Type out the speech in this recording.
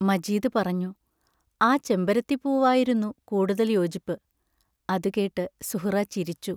മജീദ് പറഞ്ഞു: ആ ചെമ്പരത്തിപ്പൂവായിരുന്നു കൂടുതൽ യോജിപ്പ് അതു കേട്ട് സുഹ്റാ ചിരിച്ചു.